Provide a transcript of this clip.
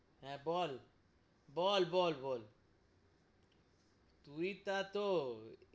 হ্যাঁ বল, বল বল বল তুই তা তো,